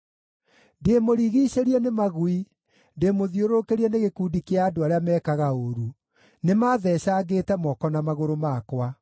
Ndĩĩmũrigiicĩrie nĩ magui; ndĩĩmũthiũrũrũkĩrie nĩ gĩkundi kĩa andũ arĩa meekaga ũũru, nĩmatheecangĩte moko na magũrũ makwa.